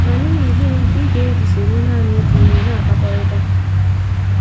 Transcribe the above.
Ma n’ihi gịnị ka ị ga - eji soro nanị otu onye na - akpakọrịta?